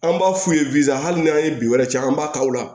An b'a f'u ye hali n'an ye bin wɛrɛ ci an b'a ta o la